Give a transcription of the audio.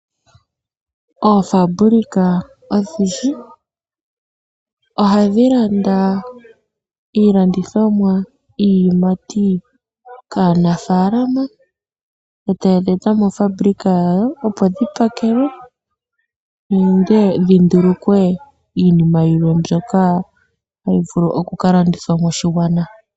Oofabulika odhindji ohadhi landa iilandithomwa, iiyamati kaanafalama eta yedhi eta moofabulika dhawo opo dhi pakelwe nenge dhi ndulukwe iinima yilwe mbyoka tayi vulu okuka landithwa moshigwana.